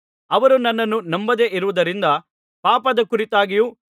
ಅವರು ನನ್ನನ್ನು ನಂಬದೇ ಇರುವುದರಿಂದ ಪಾಪದ ಕುರಿತಾಗಿಯೂ